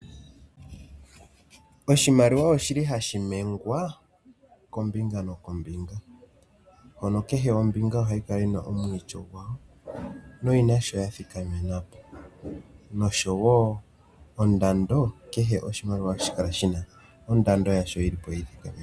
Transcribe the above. Oshimaliwa oshili hashi ninkombinga nombinga oshowo ondando kehe oshimaliwa ohashi kala shina ondando ondando yasho yi ithikamenapo